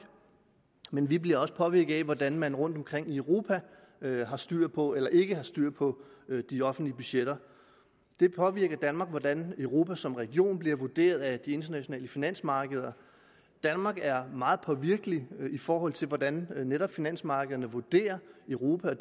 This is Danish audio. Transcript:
men vi bliver også påvirket af hvordan man rundtomkring i europa har styr på eller ikke har styr på de offentlige budgetter det påvirker danmark hvordan europa som region bliver vurderet af de internationale finansmarkeder danmark er meget påvirkelig i forhold til hvordan netop finansmarkederne vurderer europa og